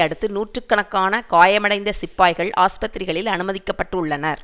அடுத்து நூற்று கணக்கான காயமடைந்த சிப்பாய்கள் ஆஸ்பத்திரிகளில் அனுமதிக்க பட்டுள்ளனர்